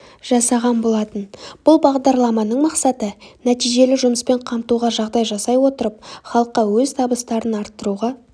жасаған болатын бұл бағдарламаның мақсаты нәтижелі жұмыспен қамтуға жағдай жасай отырып халыққа өз табыстарын арттыруға